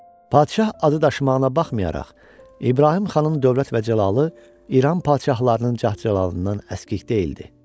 Padşah adı daşımağına baxmayaraq, İbrahim xanın dövlət və cəlalı, İran padşahlarının cəlalından əskik deyildi.